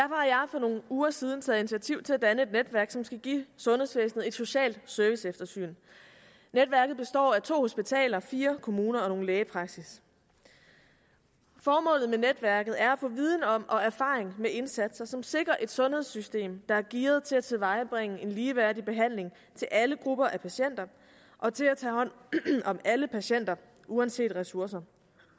for nogle uger siden taget initiativ til at danne et netværk som skal give sundhedsvæsenet et socialt serviceeftersyn netværket består af to hospitaler fire kommuner og nogle lægepraksisser formålet med netværket er at få viden om og erfaring med indsatser som sikrer et sundhedssystem der er gearet til at tilvejebringe en ligeværdig behandling til alle grupper af patienter og til at tage hånd om alle patienter uanset ressourcer